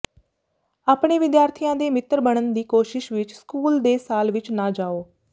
ਆਪਣੇ ਵਿਦਿਆਰਥੀਆਂ ਦੇ ਮਿੱਤਰ ਬਣਨ ਦੀ ਕੋਸ਼ਿਸ਼ ਵਿੱਚ ਸਕੂਲ ਦੇ ਸਾਲ ਵਿੱਚ ਨਾ ਜਾਓ